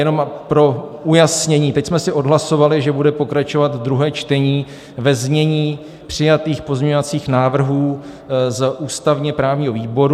Jenom pro ujasnění, teď jsme si odhlasovali, že bude pokračovat druhé čtení ve znění přijatých pozměňovacích návrhů z ústavně-právního výboru.